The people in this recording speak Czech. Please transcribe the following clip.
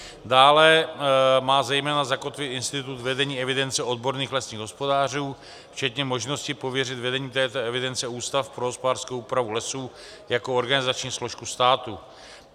Dále má zejména zakotvit institut vedení evidence odborných lesních hospodářů včetně možnosti pověřit vedením této evidence Ústav pro hospodářskou úpravu lesů jako organizační složku státu.